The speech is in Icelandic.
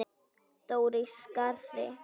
Dóra í Skarði.